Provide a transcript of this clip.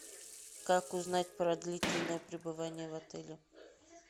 как узнать про длительное пребывание в отеле